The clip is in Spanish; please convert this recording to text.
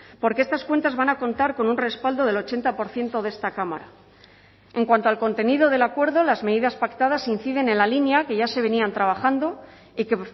porque estas cuentas van a contar con un respaldo del ochenta por ciento de esta cámara en cuanto al contenido del acuerdo las medidas pactadas inciden en la línea que ya se venían trabajando y que